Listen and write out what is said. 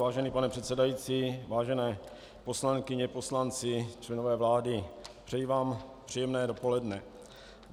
Vážený pane předsedající, vážené poslankyně, poslanci, členové vlády, přeji vám příjemné dopoledne.